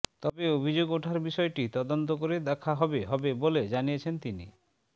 তবে অভিযোগ ওঠায় বিষয়টি তদন্ত করে দেখা হবে হবে বলে জানিয়েছেন তিনি